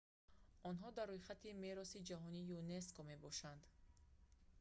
онҳо дар рӯйхати мероси ҷаҳонии юнеско мебошанд